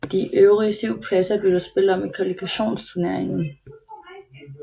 De øvrige syv pladser blev der spillet om i kvalifikationsturneringen